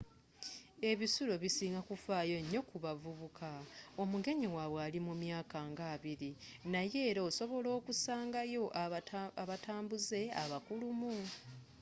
ebisulo bisinga kufaayo nyo ku bavubuka omugenyi wabwe ali mumyaka nga abbiri naye era osobola okusangayo abatambuze abakulumu